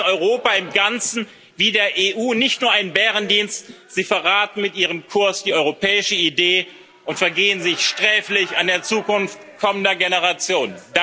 Sie erweisen Europa im Ganzen wie der EU nicht nur einen Bärendienst, Sie verraten mit Ihrem Kurs die europäische Idee und vergehen sich sträflich an der Zukunft kommender Generationen.